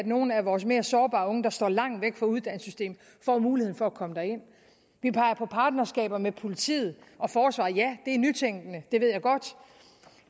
nogle af vores mere sårbare unge der står langt væk fra uddannelsessystemet får mulighed for at komme derind vi peger på partnerskaber med politiet og forsvaret ja det er nytænkende det ved